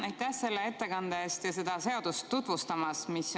Aitäh ettekande eest ja seda seadust tutvustamast!